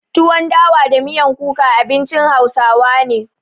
Tuwon dawa da miyan kuka abincin hausawa na.